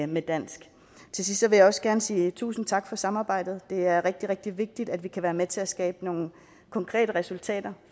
med dansk til sidst vil jeg også gerne sige tusind tak for samarbejdet det er rigtig rigtig vigtigt at vi kan være med til at skabe nogle konkrete resultater